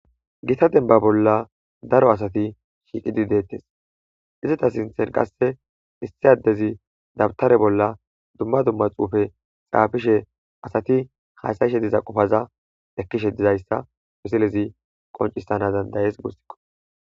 Gota dembba bolla daro asati shiqidi de'ettes izeta sinththan qasekka issi adezi dumma dumma xuufe xaafishe asati hassayishe diza qopaza ekishe dizayssa misilezi qoncisanas dandayes gussakko